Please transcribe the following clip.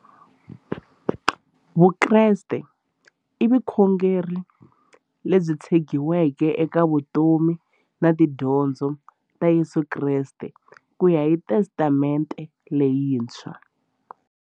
Vukreste i vukhongeri lebyi tshegiweke eka vutomi na tidyondzo ta Yesu Kreste kuya hi Testamente leyintshwa.